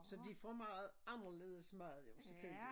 Så de får meget anderledes mad jo selvfølgelig